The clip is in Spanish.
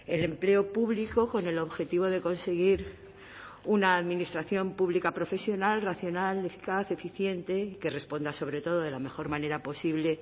el empleo público con el objetivo de conseguir una administración pública profesional racional eficaz eficiente que responda sobre todo de la mejor manera posible